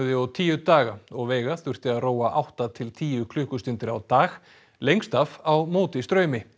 og tíu daga og veiga þurfti að róa átta til tíu klukkustundir á dag lengst af á móti straumi